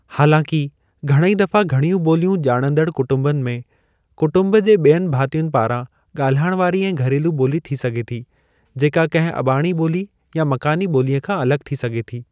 हालांकि, घणेई दफ़ा घणियूं ॿोलियूं ॼाणंदड़ कुटुम्बनि में, कुटुम्ब जे ॿियनि भातियुनि पारां ॻाल्हाइण वारी ऐं घरेलू ॿोली थी सघे थी, जेका कंहिं अबाणी ॿोली या मकानी ॿोलीअ खां अलॻि थी सघे थी।